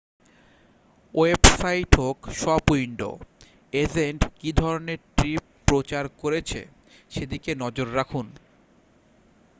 website হোক shop window agent কী ধরনের ট্রিপ প্রচার করছে সেদিকে নজর রাখুন